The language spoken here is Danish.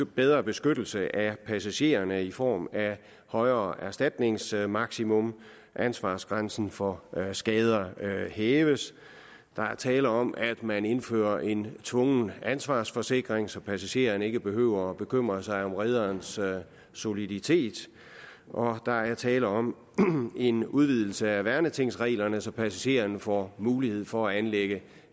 bedre beskyttelse af passagererne i form af et højere erstatningsmaksimum ansvarsgrænsen for skader hæves der er tale om at man indfører en tvungen ansvarsforsikring så passagererne ikke behøver at bekymre sig om rederens soliditet og der er tale om en udvidelse af værnetingsreglerne så passagererne får mulighed for at anlægge